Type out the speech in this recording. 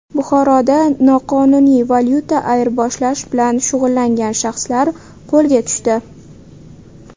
Buxoroda noqonuniy valyuta ayirboshlash bilan shug‘ullangan shaxslar qo‘lga tushdi .